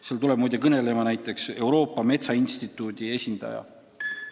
Seal tuleb muide kõnelema ka Euroopa Metsainstituudi esindaja.